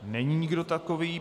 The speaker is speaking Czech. Není nikdo takový.